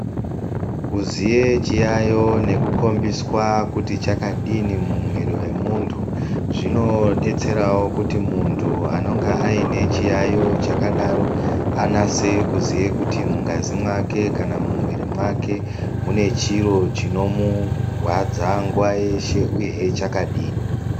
Kuziye chiyaiyo nekukombiswa kuti chakadini mumwiri wemuntu zvinodetserawo kuti muntu anonga aine chiyaiyo chakadaro anase kuziye kuti mungazi mwake kana kuti mumwiri mwake mune chiro chinomurwadza nguwa yeshe uye hee chakadini.